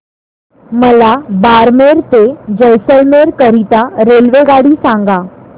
मला बारमेर ते जैसलमेर करीता रेल्वेगाडी सांगा